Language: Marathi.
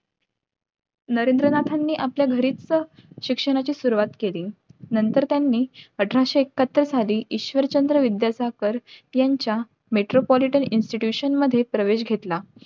नरेंद्रनाथांनी आपल्या घरीच शिक्षणाची सुरवात केली नंतर त्यांनी अठराशे एकाहत्तर साली ईश्वरचंद्र विद्यासागर यांच्या Metropolitan institution मधे